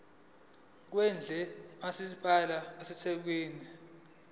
kwendle kamasipala wasethekwini